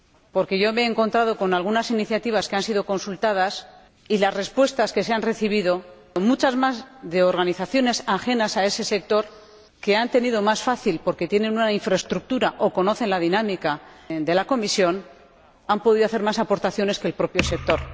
Porque yo me he encontrado con algunas iniciativas que han sido consultadas y se han recibido muchas más respuestas de organizaciones ajenas a ese sector, que lo han tenido más fácil porque tienen una infraestructura o conocen la dinámica de la Comisión y han podido hacer más aportaciones que el propio sector.